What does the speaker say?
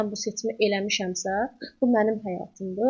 Mən bu seçimi eləmişəmsə, bu mənim həyatımdır.